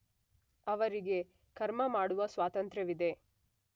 ಅವರಿಗೆ ಕರ್ಮ ಮಾಡುವ ಸ್ವಾತಂತ್ರ್ಯವಿದೆ.